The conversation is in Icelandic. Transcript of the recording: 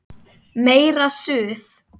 Meira Suð!